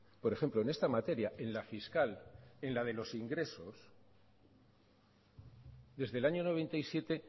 por ejemplo en esta materia en la fiscal en la de los ingresos desde el año noventa y siete